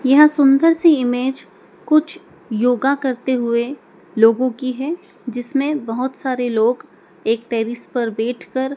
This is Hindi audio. यह सुंदर सी इमेज कुछ योगा करते हुए लोगों की है जिसमें बहोत सारे लोग एक टैरिस पर बैठकर--